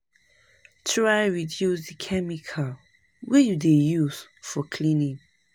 Try reduce di chemical wey you dey use for cleaning